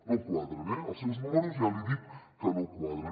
no quadren eh els seus números ja li he dit que no quadren